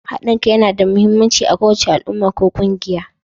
Haɗin kai yana da mahimmanci a kowace al'umma ko ƙungiya.